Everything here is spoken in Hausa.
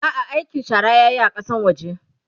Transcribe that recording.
a'a aikin shara yayi a Kasan waje